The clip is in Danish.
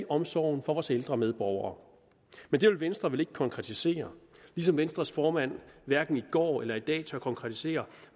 omsorgen for vores ældre medborgere det vil venstre vel ikke konkretisere ligesom venstres formand hverken i går eller i dag tør konkretisere